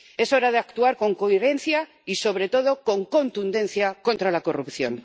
Es hora de actuar con coherencia y, sobre todo, con contundencia contra la corrupción.